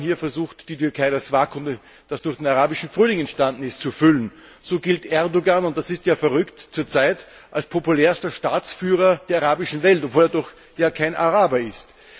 Vor allem versucht die Türkei, das Vakuum, das durch den arabischen Frühling entstanden ist, zu füllen. So gilt Erdogan und das ist ja verrückt zurzeit als populärster Staatsführer der arabischen Welt, obwohl er doch kein Araber ist!